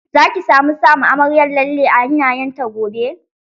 Za ki samu sama amaryar lalle a hannayen ta gobe?